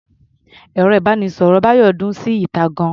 Ẹ̀rọ-ìbánisọ̀rọ̀ Bayo dún síta gan-an.